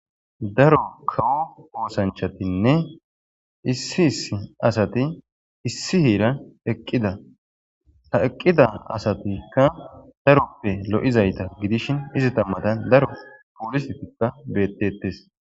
Daro kawo oosanchchatinne issi issi asati issi heeran eqqida. Ha eqqida asatikka daroppe lo'izayta gidishin izeta matan daro poolisetikka beettetes.